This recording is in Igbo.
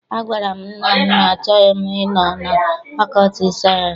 Agwara m nna m na achọghị m ịnọ na fakọlti sayensị.